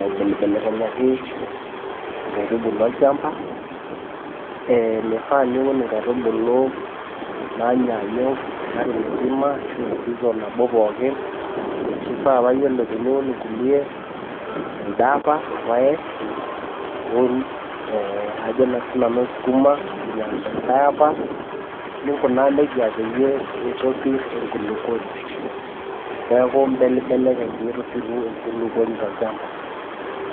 aibelibelaki inkaitubulu olchamba. Meifaa piul inkaitubulu naanyaanyuk olari misima ashu season nabo pookin, keifaa paa iyiolo teniun inkuliek telde apa ilpaek niun ajonaa sii nanu sukuma teldelikai apa. NInkunaaa neija pee eitopir enkulukuoni. Neaku imbelibelekeny pee piru enkulukuoni tolchamba.